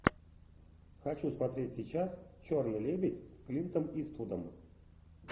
хочу смотреть сейчас черный лебедь с клинтом иствудом